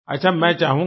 अच्छा मैं चाहूँगा